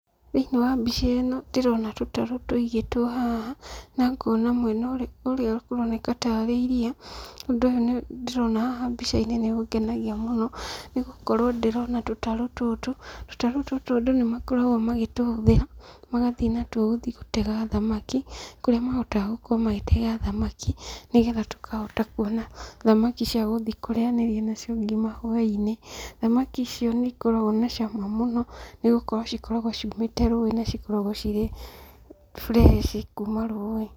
Thĩinĩ wa mbica ĩno ndĩrona tũtarũ tũigĩtwo haha, na ngona mwena ũrĩa kũroneka tarĩ iria, ũndũ ũyũ ndĩrona haha mbica-inĩ nĩ ũngenagia mũno, nĩ gũkorwo ndĩrona tũtarũ tũtũ, tũtarũ tũtũ andũ nĩ makoragwo magĩtũhũthĩra, magathiĩ natuo gũthiĩ gũtega thamaki, kũrĩa mahotaga gũkorwo magĩtega thamaki, nĩgetha tũkahota kuona thamaki cia gũthiĩ kũrĩanĩria nacio ngima hwainĩ, thamaki icio nĩ ikoragwo na cama mũno, nĩ gũkorwo cikoragwo ciumĩte rũĩ na cikoragwo cirĩ fresh kuuma rũĩ.